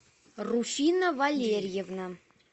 руфина валерьевна